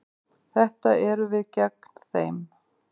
Þetta eru við gegn þeim.